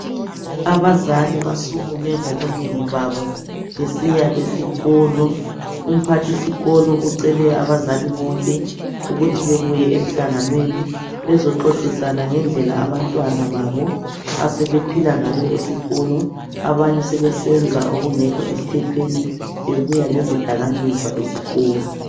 Abazali basukume ngobunengi babo besiya esikolo. Umphathisikolo ucele abazali bonke ukuthi bebuye emhlanganweni bezoxoxisana ngendlela abantwana babo asebephula ngayo esikolo, abanye sebesenza okungekho emthethweni, bebuya lezidakamizwa esikolo.